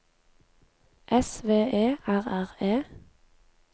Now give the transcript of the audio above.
S V E R R E